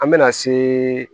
An bɛna se